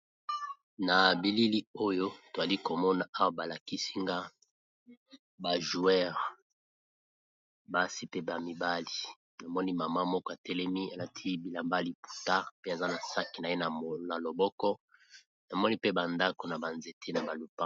Na bilili oyo tozali komona, awa balakisi nga babeti ndembo ,basi pe mibali namoni mama moko a telemi alati bilambali maputa pe aza na sakosh na ye na loboko namoni mpe ba ndako na banzete .